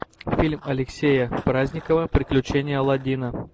фильм алексея праздникова приключения аладдина